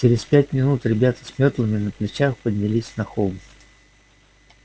через пять минут ребята с мётлами на плечах поднялись на холм